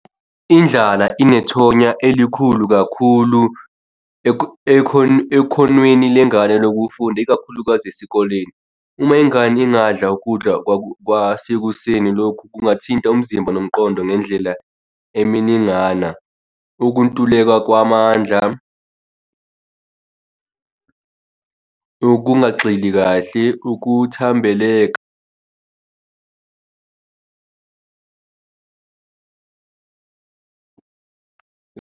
Indlala inethonya elikhulu kakhulu ekhonweni lengane lokufunda ikakhulukazi esikoleni. Uma ingane ingadla ukudla kwasekuseni, lokhu kungathinta umzimba nomqondo ngendlela eminingana. Ukuntuleka kwamandla okungagxili kahle ukuthambeleka.